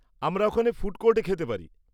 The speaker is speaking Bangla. আমরা ওখানে ফুড কোর্টে খেতে পারি।